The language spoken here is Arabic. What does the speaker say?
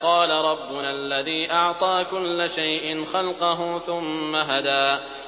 قَالَ رَبُّنَا الَّذِي أَعْطَىٰ كُلَّ شَيْءٍ خَلْقَهُ ثُمَّ هَدَىٰ